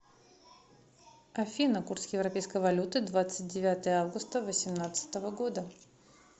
афина курс европейской валюты двадцать девятое августа восемнадцатого года